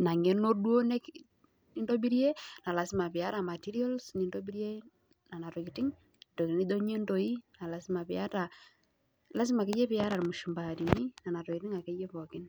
ina ng'eno duo nintobirie, piata materials nintobirie nena tokiting, tokiting nijo inyundoi naa lazima piiyata. lazima akeyie piyata irmushumaani, nena tokiting akeyie pookin